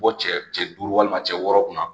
Bɔ cɛ cɛ duuru walima cɛ wɔɔrɔ kunna